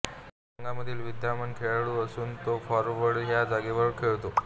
Cavani संघामधील विद्यमान खेळाडू असून तो फॉरवर्ड ह्या जागेवर खेळतो